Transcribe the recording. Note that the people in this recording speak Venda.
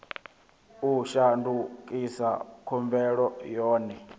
u shandukisa khumbelo yo no